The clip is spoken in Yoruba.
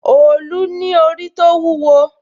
òòlù ní orí tó wúwo